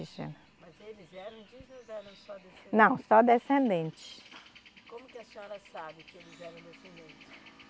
Mas eles eram indígenas ou eram só descendentes? Não, só descendentes. E como que a senhora sabe que eles eram descendentes?